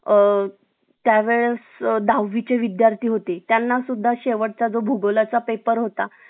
अ त्यावेळेस दहावी चे विद्यार्थी होते त्यांना सुद्धा शेवटचा भूगोला चा पेपर होता